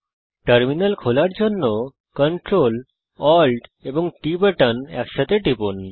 terminal খোলার জন্য CTRL এবং ALT এবং T বাটন একসঙ্গে টিপুন